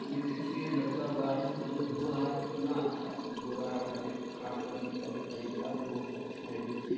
ये देखिए लड़का गाड़ी को जो धो रहा है कितना अच्छा से धो रहा है गाड़ी को खड़ा करने का भी तरीका भी बहुत अच्छा है देखिऐ।